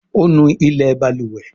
O nú ilé balùwẹ̀.